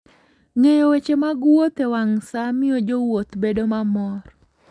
Ng'eyo weche mag wuoth e wang' sa miyo jowuoth bedo mamor.